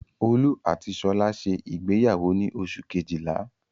Olú àti Ṣọlá ṣe ìgbéyàwó ní oṣù kejìlá.